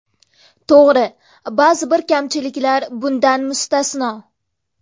To‘g‘ri, ba’zi bir kamchiliklar bundan mustasno.